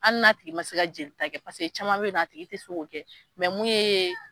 Hali na tigi ma se ka jeli ta kɛ paseke caman bɛ ye nɔ a tigi tɛ se ko kɛ mun ye.